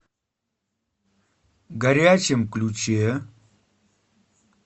горячем ключе